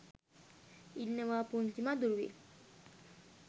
ඉන්නවා පුංචි මදුරුවෙක්